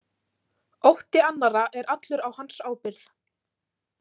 Ótti annarra er allur á hans ábyrgð.